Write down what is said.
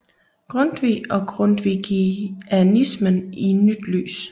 Grundtvig og grundtvigianismen i nyt lys